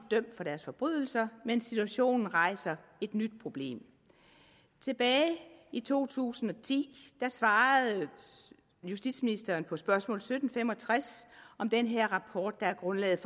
dømt for deres forbrydelser men situationen rejser et nyt problem tilbage i to tusind og ti svarede justitsministeren på spørgsmål sytten fem og tres om den her rapport der er grundlaget